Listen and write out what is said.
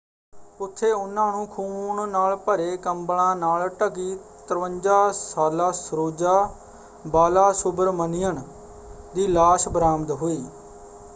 ਉੱਥੇ ਉਨ੍ਹਾਂ ਨੂੰ ਖੂਨ ਨਾਲ ਭਰੇ ਕੰਬਲਾਂ ਨਾਲ ਢਕੀ 53 ਸਾਲਾ ਸਰੋਜਾ ਬਾਲਾਸੁਬਰਮਣੀਅਨ ਦੀ ਲਾਸ਼ ਬਰਾਮਦ ਹੋਈ।